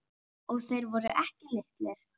Og þeir voru ekki litlir.